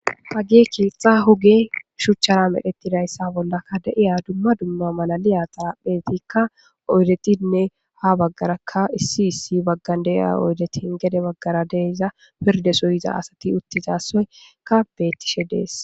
hage kiexxa huge shuchchara medhetidayssa bollaka de7iya dumma dumma malaliya xaaphetikka oydetinne ha baggarakka issi issi baggan deiya oydetin gede baggara deyza pirde soyiza asati uttizasoyka beettishe dees